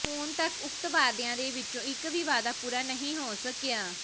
ਹੁਣ ਤੱਕ ਉਕਤ ਵਾਅਦਿਆਂ ਦੇ ਵਿੱਚੋਂ ਇੱਕ ਵੀ ਵਾਅਦਾ ਪੂਰਾ ਨਹੀਂ ਹੋ ਸਕਿਆ